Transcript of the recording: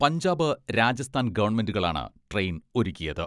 പഞ്ചാബ്, രാജസ്ഥാൻ ഗവൺമെന്റുകളാണ് ട്രെയിൻ ഒരുക്കിയത്.